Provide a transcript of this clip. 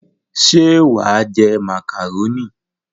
Ṣé wà á jẹ màkàrónì?